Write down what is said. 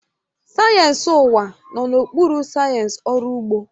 Sayensị ụwa nọ n'okpuru sayensị ọrụ ugbo